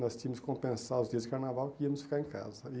Nós tínhamos que compensar os dias de carnaval que íamos ficar em casa. E